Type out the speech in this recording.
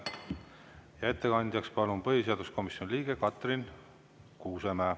Ja ettekandeks palun põhiseaduskomisjoni liikme Katrin Kuusemäe.